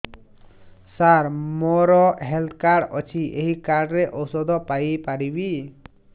ସାର ମୋର health card ଅଛି ଏହି କାର୍ଡ ରେ ଔଷଧ ପାଇପାରିବି